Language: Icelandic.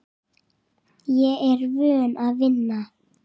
Ég er vön að vinna.